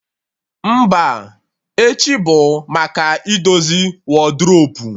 Mba, echi bụ maka idozi wadrobu